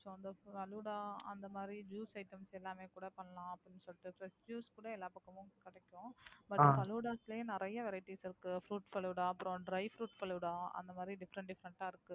Falooda அந்த மாதிரி Juice item எல்லாமே கூட பண்ணலாம் அப்படின்னு சொல்லிட்டு. Fresh juice கூட எல்லா பக்கமும் கிடைக்கும். Falloodas லயே நிறைய Varieties இருக்கு Fruit falooda அப்புறம் Dry fruit falooda அந்த மாதிரி Different different ஆ இருக்கு.